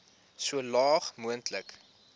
so laag moontlik